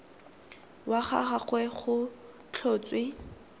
wa ga gagwe go tlhotswe